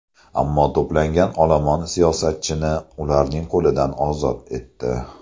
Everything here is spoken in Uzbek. Ammo to‘plangan olomon siyosatchini ularning qo‘lidan ozod etdi.